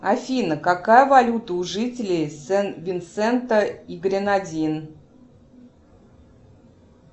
афина какая валюта у жителей сент винсента и гренадин